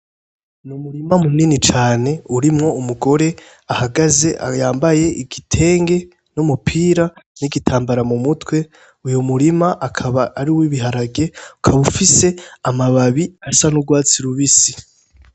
Ni umurima munini cane urimwo umugore ahagaze yambaye igitenge n'umupira n'igitambara mu mutwe, uyo murima akaba ari uw'ibiharage ukaba ufise amababi asa n'urwatsi rubisi.